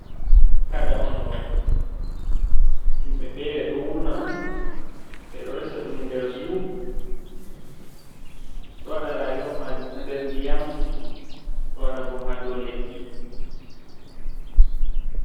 Kada on ɗo himɓe fere ɗo wurna ɗum ɓeɗo resa ɗum nder zu, ɗo waɗa rayuwa majum ha nder ndiyam ɗo waɗa bo ha dow leddi.